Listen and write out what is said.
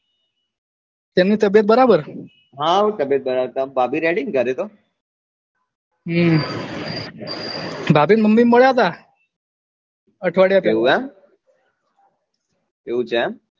તેમની તબ્યત બરાબર હાઉ તબ્યત બરાબર ભાભી ready ને ઘરે તો હમ ભાભી ની mummy મળ્યા હતા અઠવાડિયા પેહલા એવું એમ એવું છે એમ